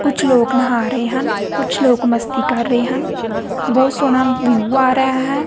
ਕੁਝ ਲੋਕ ਨਹਾ ਰਹੇ ਹਨ ਕੁਝ ਲੋਕ ਮਸਤੀ ਕਰ ਰਹੇ ਹਨ ਬਹੁਤ ਸੋਹਣਾ ਵਿਊ ਆ ਰਿਹਾ ਹੈ।